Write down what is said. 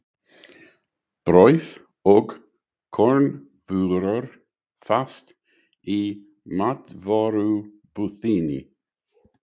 Brauð og kornvörur fást í matvörubúðinni.